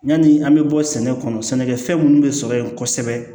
Yani an bɛ bɔ sɛnɛ kɔnɔ sɛnɛkɛfɛn minnu bɛ sɔrɔ yen kosɛbɛ